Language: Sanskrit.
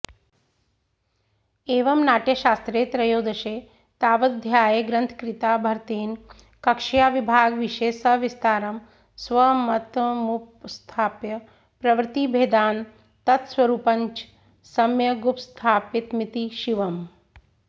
एवं नाट्यशास्त्रे त्रयोदशे तावदध्याये ग्रन्थकृता भरतेन कक्ष्याविभागविषये सविस्तारं स्वमतमुपस्थाप्य प्रवृत्तिभेदान् तत्स्वरूपञ्च सम्यगुपस्थापितमिति शिवम्